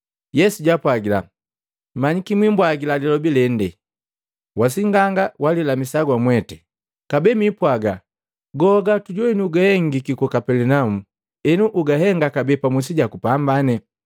Yesu jaapwagila, “Manyiki mwibwagila lilobi lende, ‘Wa sing'anga gulilamisa wamwete!’ Kabee mwipwaga, ‘Goa gatujowini guhengiki ku Kapelinaumu, enu ugatenda kabee pamusi jaku pambane.’ ”